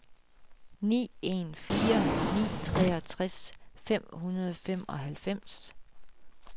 ni en fire ni treogtres fem hundrede og femoghalvfems